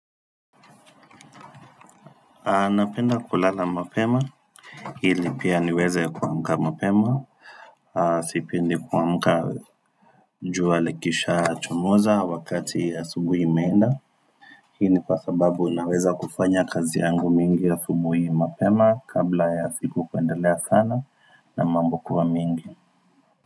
A napenda kulala mapema ili pia niweze kuamka mapema Sipendi kuamka njua likishachomoza wakati asubuhi imeenda Hii ni kwa sababu naweza kufanya kazi yangu mingi asubuhi mapema kabla ya siku kuendelea sana na mambo kuwa mingi.